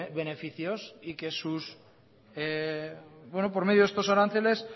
beneficios y que por medio de estos aranceles